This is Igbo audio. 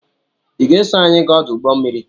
I ga-eso anyị gaa ọdụ ụgbọmmiri?